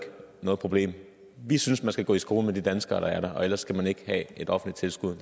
noget problem vi synes man skal gå i skole med de danskere der er der og ellers skal man ikke have et offentligt tilskud